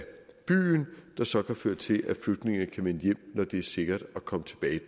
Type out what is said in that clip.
byen der så kan føre til at flygtningene kan vende hjem når det er sikkert at komme tilbage